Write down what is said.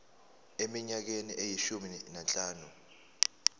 eminyakeni eyishumi nanhlanu